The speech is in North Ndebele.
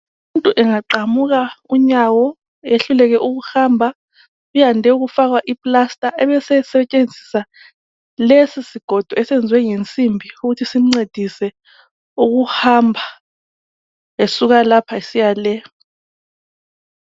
Umuntu engaqamuka inyawo eyehluleke ukuhamba uyande ukufakwa iplaster ebese sebenzisa lesisigodo esiyenzwe ngensimbi ukuthi simncedise ukuhamba esuka le esiya le